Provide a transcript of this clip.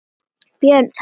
Björn: Það er óljóst?